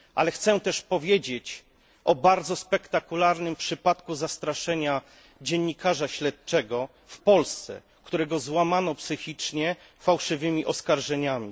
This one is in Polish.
Chciałbym jednak wymienić bardzo spektakularny przypadek zastraszenia dziennikarza śledczego w Polsce, którego złamano psychicznie fałszywymi oskarżeniami.